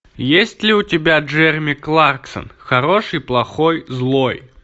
есть ли у тебя джереми кларксон хороший плохой злой